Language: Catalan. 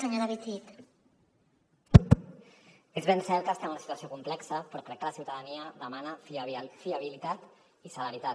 és ben cert que estem en una situació complexa però crec que la ciutadania demana fiabilitat i celeritat